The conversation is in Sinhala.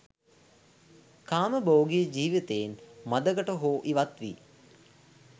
කාමභෝගි ජීවිතයෙන් මඳකට හෝ ඉවත්වී